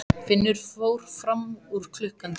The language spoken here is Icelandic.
Finnur fór fram úr klukkan tíu.